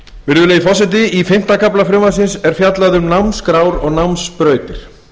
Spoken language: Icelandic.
virðulegi forseti í fimmta kafla frumvarpsins er fjallað um námskrár og námsbrautir